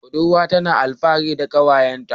Budurwan tana alfahari da kyawunta.